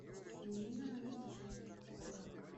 ирина анатольевна ковалева